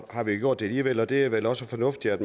har gjort det alligevel og det er vel også fornuftigt at